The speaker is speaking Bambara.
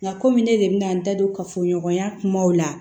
Nka kɔmi ne de bɛna n da don kafoɲɔgɔnya kumaw la